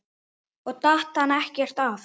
Og datt hann ekkert af?